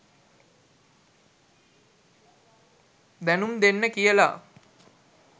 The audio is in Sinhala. දැනුම් දෙන්න කියලා.